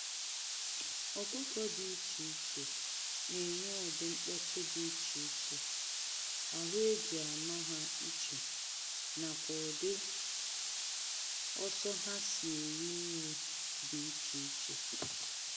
Ọkụkọ dị iche iche na enwe ụdị nkpọtu dị iche iche, ahụ eji ama ha iche, nakwa ụdị ọsọ ha si eri nri dị iche iche.